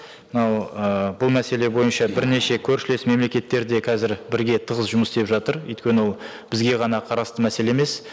мынау ы бұл мәселе бойынша бірнеше көршілес мемлекеттер де қазір бірге тығыз жұмыс істеп жатыр өйткені ол бізге ғана қарасты мәселе емес